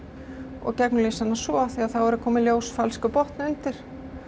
og gegnumlýsa hana svo af því að þá er að koma í ljós falskur botn undir